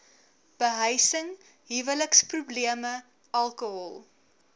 behuising huweliksprobleme alkohol